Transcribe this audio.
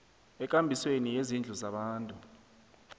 ekambisweni yezindlu zabantu